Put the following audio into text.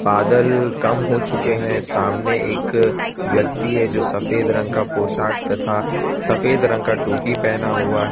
ऑदल कम हो चुके हैं सामने एक व्यक्ति है जो सफेद रंग का पोशाक तथा सफेद रंग का टोपी पेहना हुआ है।